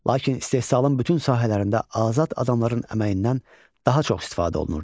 Lakin istehsalın bütün sahələrində azad adamların əməyindən daha çox istifadə olunurdu.